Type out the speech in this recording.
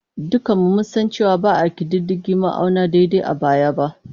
Dukanmu mun san cewa ba a ƙididdige ma'auni daidai a baya ba.